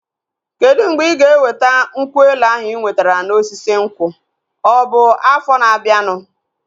Kedụ mgbe ịga eweta nkwụ elu ahụ ị nwetara na osisi nkwụ? Ọ bụ afọ na abianu